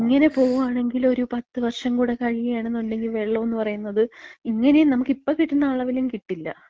ഇങ്ങനെ പോവാണെങ്കില് ഒരു പത്തുവർഷം കൂടെ കഴിയാണെന്ന്ണ്ടെങ്കി, വെള്ളോന്ന് പറയ്ന്നത് ഇങ്ങനേം നമ്മക്ക് ഇപ്പം കിട്ടുന്ന അളവിലും കിട്ടില്ല.